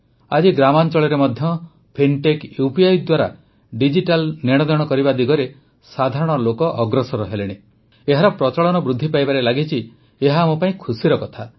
ଆଜି ଗ୍ରାମାଂଚଳରେ ମଧ୍ୟ ଫିନ୍ଟେକ୍ ୟୁପିଆଇ ଦ୍ୱାରା ଡିଜିଟାଲ ନେଣଦେଣ କରିବା ଦିଗରେ ସାଧାରଣ ଲୋକ ଅଗ୍ରସର ହେଲେଣି ଏହାର ପ୍ରଚଳନ ବୃଦ୍ଧି ପାଇବାରେ ଲାଗିଛି ଏହା ଆମ ପାଇଁ ଖୁସିର କଥା